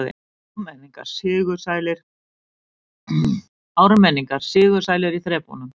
Ármenningar sigursælir í þrepunum